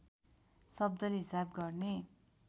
शब्दले हिसाब गर्ने